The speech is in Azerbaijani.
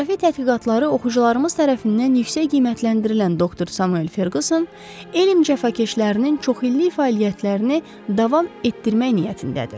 Coğrafi tədqiqatları oxucularımız tərəfindən yüksək qiymətləndirilən doktor Samuel Ferquson, elm cəfakeşlərinin çoxillik fəaliyyətlərini davam etdirmək niyyətindədir.